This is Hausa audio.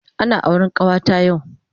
Ana auren kawata yau